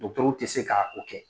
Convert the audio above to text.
Dɔkitɛru tɛ se ka o kɛ